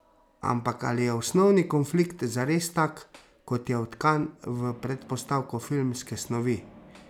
Ampak ali je osnovni konflikt zares tak, kot je vtkan v predpostavko filmske snovi?